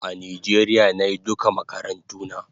A Nijeria nayi duka makarantuna